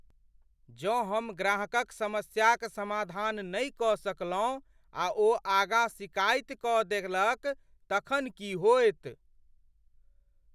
जँ हम ग्राहकक समस्याक समाधान नहि कऽ सकलहुँ आ ओ आगाँ सिकाइत कऽ देलक तखन की होयत?